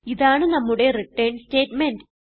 ഇതാണ് നമ്മുടെ return statement